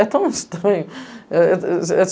É tão estranho. É...